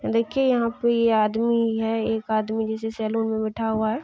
देखिये यहाँ पे ये आदमी है एक आदमी जिसे सैलून में बैठा हुआ है।